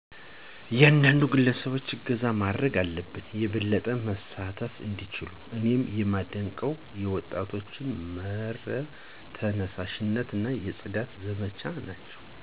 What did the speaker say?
እያንዳንዱ ግለሰብ እገዛ ማረግ አለበት የበለጠ መሳተፍ እንዲችሉ። እኔ የማደንቀው የወጣቶች መር ተነሳሺነት የፅዳት ዘመቻዎች ናቸው።